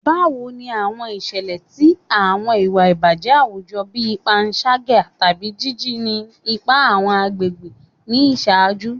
Bawo ni awọn iṣẹlẹ ti awọn iwa ibajẹ awujọ bii panṣaga tabi jiji ni ipa awọn agbegbe ni iṣaaju?